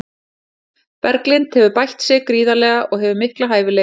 Berglind hefur bætt sig gríðarlega og hefur mikla hæfileika.